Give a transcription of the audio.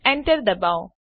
Enter દબાવો